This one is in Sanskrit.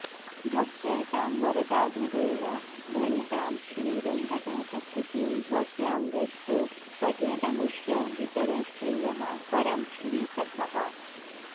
भक्त्यैतां वरदाभिधेन भणितां श्रीवेङ्कटेशस्तुतिं भव्यां यस्तु पठेदमुष्य वितरेच्छ्रेयः परं श्रीसखः